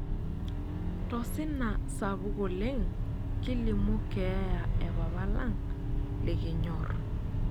Tosina sapuk oleng kilimu keeya e papa lang' likinyorr.